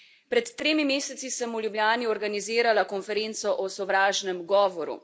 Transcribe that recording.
Pred tremi meseci sem v Ljubljani organizirala konferenco o sovražnem govoru.